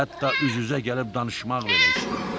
hətta üz-üzə gəlib danışmaq belə istəmir.